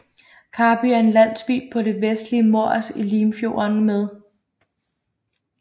Karby er en landsby på det vestlige Mors i Limfjorden med